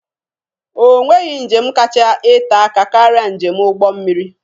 Onweghi njem kacha ete aka karịa njem ụgbọ mmiri.